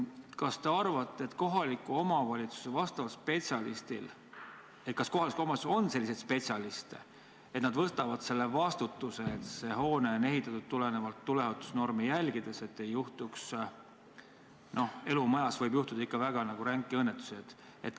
Kas te arvate, et kohalikus omavalitsuses on selliseid spetsialiste, et nad võtavad vastutuse, et hoone on ehitatud tuleohutusnorme järgides ja et ei juhtu – no elumajas võib juhtuda – mõnda väga ränka õnnetust?